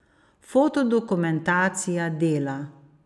Fotodokumentacija Dela.